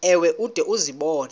ewe ude uzibone